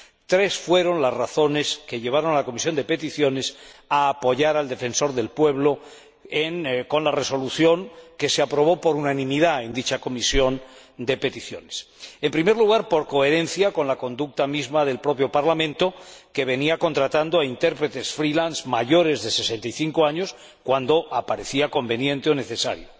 Tres fueron las razones que llevaron a la Comisión de Peticiones a apoyar al Defensor del Pueblo con la resolución que se aprobó por unanimidad en dicha comisión En primer lugar, por coherencia con la conducta misma del propio Parlamento, que venía contratando a intérpretes freelance mayores de 65 años cuando parecía conveniente o necesario.